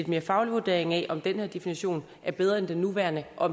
mere faglig vurdering af om den her definition er bedre end den nuværende og